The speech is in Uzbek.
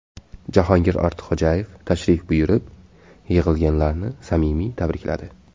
Jahongir Ortiqxo‘jayev tashrif buyurib, yig‘ilganlarni samimiy tabrikladi.